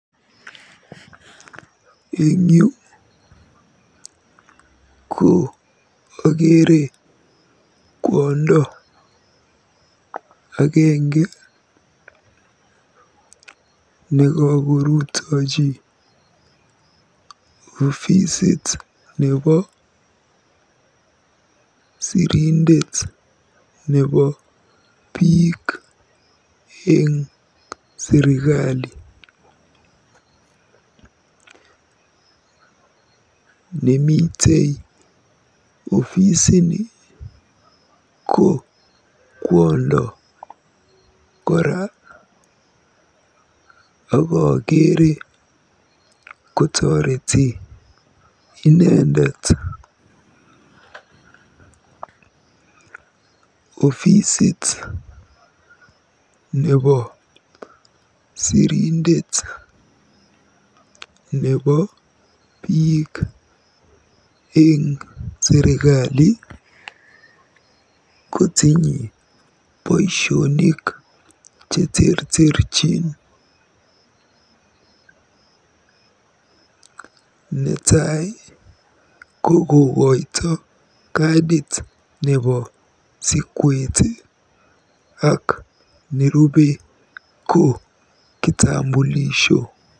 Eng yu ko akeere kwondo agenge nekakorutiji ofisit nebo sirindet nebo biik eng serikali. Nemitei ofisini ko kwondo kora akakeere kotoreti inendet. Ofisit nebo sirindet nebo biik eng serikali kotinye boisionik cheterterchin. Netai ko kokoito kadit nebo sikwet ak nwerubei ko kokoito kitambulisho.